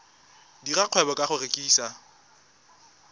dira kgwebo ka go rekisa